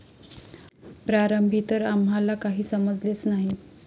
प्रारंभी तर आम्हाला काही समजलेच नाही.